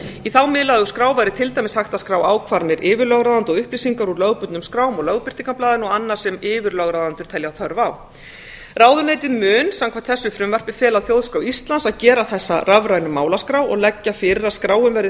í þá miðlægu skrá væri til dæmis hægt að skrá ákvarðanir yfirlögráðenda og upplýsingar úr lögbundnum skrám og lögbirtingablaði og annað sem yfirlögráðendur telja þörf á ráðuneytið mun samkvæmt þessu frumvarpi fela þjóðskrá íslands að gera þessa rafrænu málaskrá og leggja fyrir að skráin verði